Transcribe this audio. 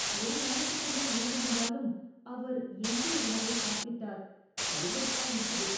ஒரு வாரத்துக்கு மேல் இருந்திருந்தாலும் அவர் எஞ்சிய உணவை சாப்பிட்டார். அருவருப்பா இருக்குது.